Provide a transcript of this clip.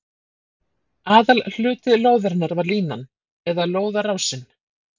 Aðalhluti lóðarinnar var línan, eða lóðarásinn.